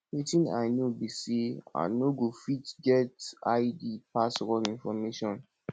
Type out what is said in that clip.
wetin i no be say i no go fit get i d pass wrong information